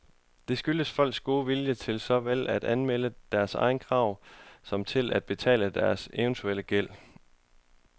Det skyldes folks gode vilje til såvel at anmelde deres krav som til at betale deres eventuelle gæld.